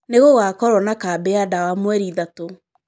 Nĩgũgakorwo na kambĩ ya ndawa mweri ithatu.